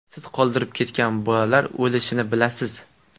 Siz qoldirib ketgan bolalar o‘lishini bilasiz.